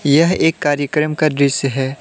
यह एक कार्यक्रम का दृश्य है।